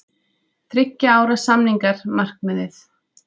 Þriggja ára samningar markmiðið